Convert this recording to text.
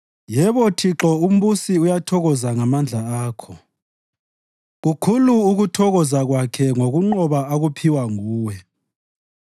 Yebo Thixo umbusi uyathokoza ngamandla akho. Kukhulu ukuthokoza kwakhe ngokunqoba akuphiwa nguwe!